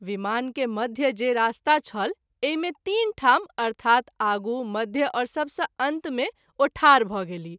विमान के मध्य जे रास्ता छल एहि मे तीन ठाम अर्थात् आगू मध्य और सबस’ अंत मे ओ ठाढ भ’ गेलीह।